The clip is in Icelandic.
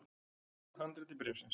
Úr handriti bréfsins